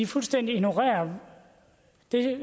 fuldstændig ignorerer det